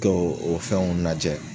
Do o fɛnw lajɛ